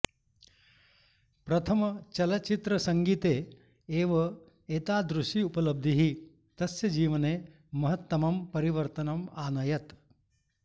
प्रथमचलच्चित्रसङ्गीते एव एतादृशी उपलब्धिः तस्य जीवने महत्तमं परिवर्तनम् आनयत्